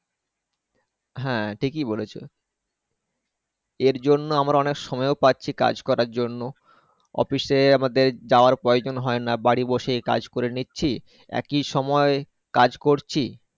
হ্যাঁ ঠিকই বলেছো এর জন্য আমরা অনেক সময় ও পাচ্ছি কাজ করার জন্য Office এ আমাদের যাওয়ার প্রয়োজন হয়না। বাড়ি বসে কাজ করে নিচ্ছি একই সময় কাজ করছি।